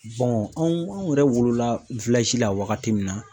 anw anw yɛrɛ wolola la wagati min na